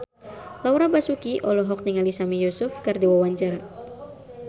Laura Basuki olohok ningali Sami Yusuf keur diwawancara